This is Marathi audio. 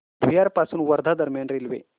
भुयार पासून वर्धा दरम्यान रेल्वे